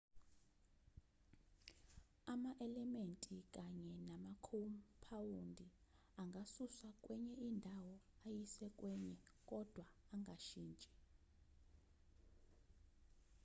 ama-elementi kanye namakhompawundi angasuswa kwenye indawo ayiswe kwenye kodwa angashintshi